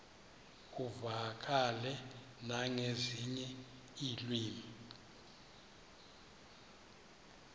uvakale nangezinye iilwimi